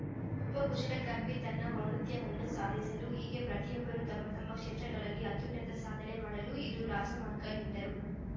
ಒಬ್ಬ ಕುಶಲಕರ್ಮಿ ತನ್ನ ಔನ್ನತ್ಯವನ್ನು ಸಾಧಿಸಲು ಹೀಗೆ ಪ್ರತಿಯೊಬ್ಬರೂ ತಮ್ಮ ತಮ್ಮ ಕ್ಷೇತ್ರಗಳಲ್ಲಿ ಅತ್ಯುನ್ನತ ಸಾಧನೆ ಮಾಡಲು ಇದು ರಾಜಮಾರ್ಗ ಎಂದರು